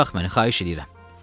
Burax məni, xahiş eləyirəm.